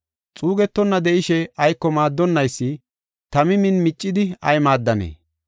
Xuugetonna de7ishe, ayko maaddonnaysi tami min miccidi ay maaddanee?”